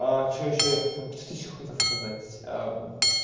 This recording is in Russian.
что ещё я хотел что ты ещё хотел сказать